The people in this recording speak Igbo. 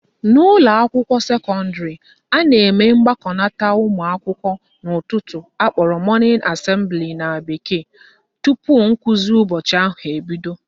N'ụlọakwụkwọ sekọndịrị, a na-eme mgbakọnata ụmụakwụkwọ n'ụtụtụ akpọrọ morning assembly na bekee tupu nkụzi ụbọchị ahụ ebido